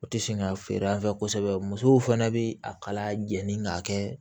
U tɛ sen ka feere an fɛ kosɛbɛ musow fana bɛ a kala jeni k'a kɛ